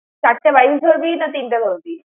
চারটে বাইশ ধরবি, না তিনটে ধরবি?